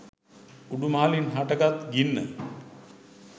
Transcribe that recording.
උඩු මහලින් හට ගත් ගින්න